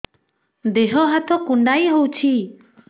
ଦେହ ହାତ କୁଣ୍ଡାଇ ହଉଛି